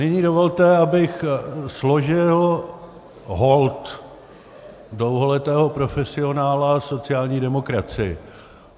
Nyní dovolte, abych složil hold dlouholetému profesionálu - sociální demokracii.